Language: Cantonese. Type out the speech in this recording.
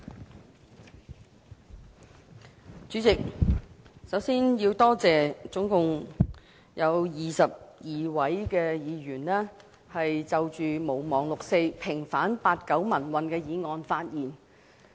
代理主席，首先，我要多謝合共22位議員就"毋忘六四"、平反八九民運的議案發言。